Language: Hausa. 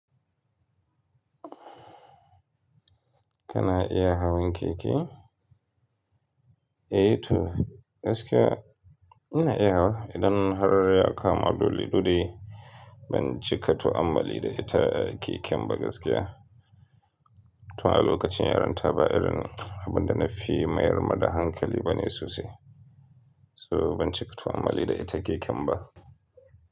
Kana iya hawan keke? Eh to, gaskiya ina iya wa idan har ya kama dole-dole ban cika to ammali da ita keken ba gaskiya. To a lokacin yaronta ba irin abin da na fi mayar ma da hankali bane sosai. To ban cika to ammali da ita keken ba.